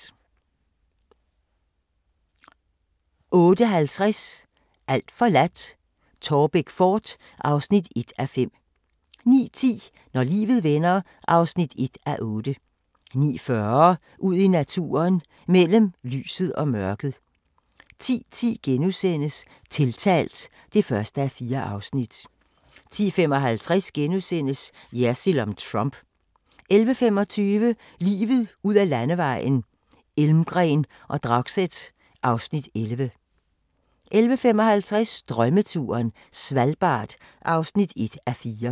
07:00: Jersild minus spin * 07:45: Jersild om Trump * 08:15: Verdens brændpunkter: Tyskland 1977 (4:6) 08:50: Alt forladt – Taarbæk fort (1:5) 09:10: Når livet vender (1:8) 09:40: Ud i naturen: Mellem lyset og mørket 10:10: Tiltalt (1:4)* 10:55: Jersild om Trump * 11:25: Livet ud ad Landevejen: Elmgreen og Dragset (Afs. 11) 11:55: Drømmeturen - Svalbard (1:4)